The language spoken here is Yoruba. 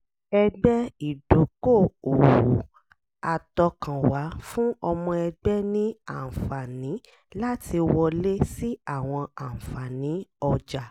ẹgbẹ́ ìdókò-òwò àtọkànwá fún ọmọ ẹgbẹ́ ní àǹfààní láti wọlé sí àwọn àǹfààní ọjà